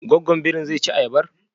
Gwaggwan birin zai ci ayabar?